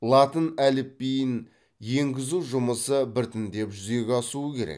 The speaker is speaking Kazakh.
латын әліпбиін енгізу жұмысы біртіндеп жүзеге асуы керек